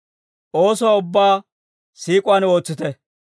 Oosuwaa ubbaa siik'uwaan ootsite.